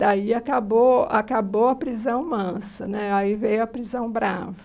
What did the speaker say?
Daí acabou acabou a prisão mansa né, aí veio a prisão brava.